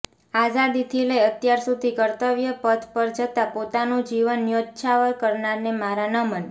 આઝાદીથી લઇ અત્યાર સુધી કર્તવ્ય પથ પર જતા પોતાનું જીવન ન્યોછાવર કરનારને મારા નમન